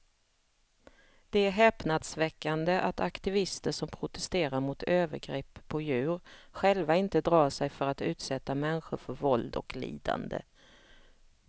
Det är häpnadsväckande att aktivister som protesterar mot övergrepp på djur själva inte drar sig för att utsätta människor för våld och lidande.